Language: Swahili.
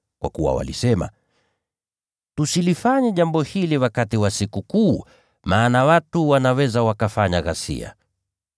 Lakini walisema, “Tusilifanye jambo hili wakati wa Sikukuu, maana watu wanaweza wakafanya ghasia.”